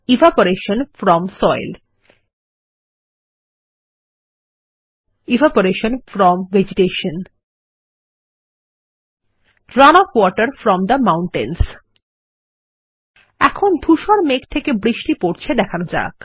evaporation from soil evaporation from vegetation run off water from the mountains এখন ধুসর মেঘ থেকে বৃষ্টি পরছে দেখানো যাক